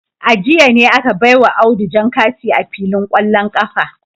A jiya ne aka baiwa Audu jan kati a filin kwallon kafa